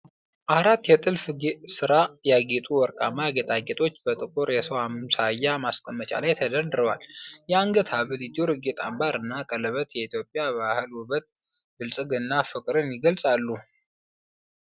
አራት የጥልፍ ሥራ ያጌጡ ወርቃማ ጌጣጌጦች በጥቁር የሰው አምሳያ ማስቀመጫ ላይ ተደርድረዋል። የአንገት ሐብል፣ የጆሮ ጌጦች፣ አምባር እና ቀለበት የኢትዮጵያን ባህል ውበትና ብልጽግና (ፍቅርን) ይገልጻሉ።